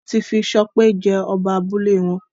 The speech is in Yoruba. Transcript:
wón tí fí Sope jé Oba abúlé wón